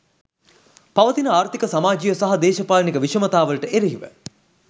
පවතින ආර්ථීක සමාජීය සහ දේශපාලනික විෂමතාවලට එරෙහිව